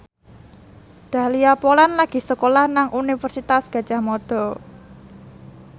Dahlia Poland lagi sekolah nang Universitas Gadjah Mada